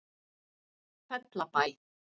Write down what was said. Fellabæ